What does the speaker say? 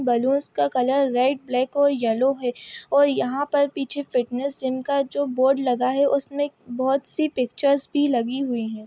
Balloons का colour red black और yellow है और यहाँ पर पीछे फिटनेस जिम का जो बोर्ड लगा है उसमें बहुत सी पिक्चर भी लगी हुई हैं।